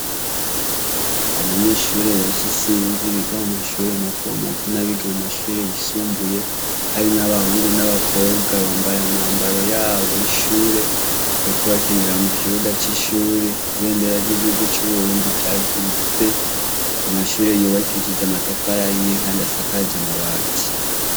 Abanyeshure benshi isinzi biga mu mashure matomako n' amashure y' isumbuye ,harimwo abakobwa n' abahungu, bambaye imyambaro yabo y' ishure , bariko bakinira mu kibuga c' ishure , ibendera y' igihugu c' uburundi ryaduze , amashure yubakishije amatafari ahiye kandi asakaje akabati.